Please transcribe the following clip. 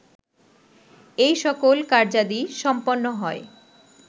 এই সকল কার্যাদি সম্পন্ন হয়